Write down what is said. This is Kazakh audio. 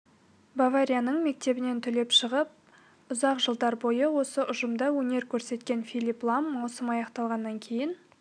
баварияның мектебінен түлеп шығып ұзақ жылдар бойы осы ұжымда өнер көрсеткен филипп лам маусым аяқталғаннан кейін